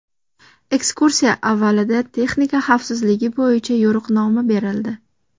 Ekskursiya avvalida texnika xavfsizligi bo‘yicha yo‘riqnoma berildi.